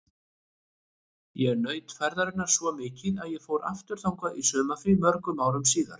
Ég naut ferðarinnar svo mikið að ég fór aftur þangað í sumarfrí mörgum árum síðar.